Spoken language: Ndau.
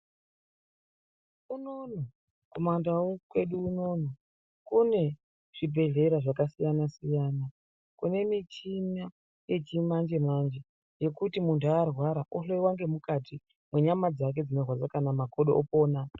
Unonono kumandau kwedu unono kune zvibhedhlera zvakasiyana-siyana kune michina yechimanje manje yekuti kana muntu arwara ohloiwa nemukati kwenyama dzake dzinorwadza kana makodo opona.